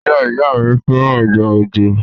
Ìyá-ìyá-mi fẹ́ràn ìgbà òjò.